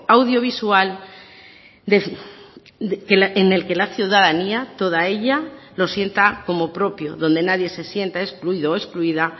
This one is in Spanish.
audiovisual en el que la ciudadanía toda ella lo sienta como propio donde nadie se sienta excluido o excluida